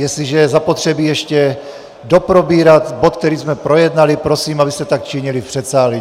Jestliže je zapotřebí ještě doprobírat bod, který jsme projednali, prosím, abyste tak činili v předsálí.